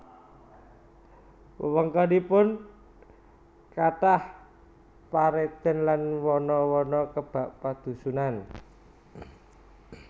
Wewengkonipun kathah paredèn lan wana wana kebak padhusunan